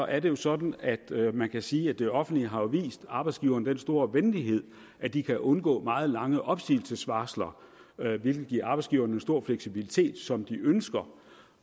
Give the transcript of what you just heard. er det sådan at man kan sige at det offentlige jo har vist arbejdsgiverne den store venlighed at de kan undgå meget lange opsigelsesvarsler hvilket giver arbejdsgiverne en stor fleksibilitet som de ønsker